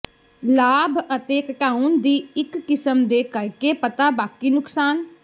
ਲਾਭ ਅਤੇ ਘਟਾਉਣ ਦੀ ਇੱਕ ਕਿਸਮ ਦੇ ਕਰਕੇ ਪਤਾ ਬਾਕੀ ਨੁਕਸਾਨ